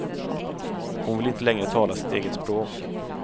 Hon vill inte längre tala sitt eget språk.